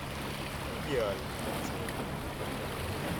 идеальный пациент